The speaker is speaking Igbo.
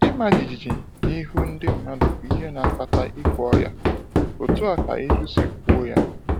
“Ịma jijiji n’ihu ndị mmadụ bụ ihe na-akpata ikwe ọya,” etu a ka ilu si kwuo ya.